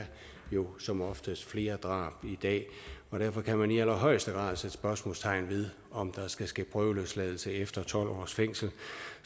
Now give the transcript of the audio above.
jo som oftest flere drab i dag og derfor kan man i allerhøjeste grad sætte spørgsmålstegn ved om der skal ske en prøveløsladelse efter tolv års fængsel